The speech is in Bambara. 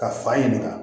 Ka fa ɲininka